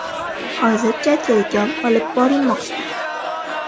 Hozircha tergov olib borilmoqda.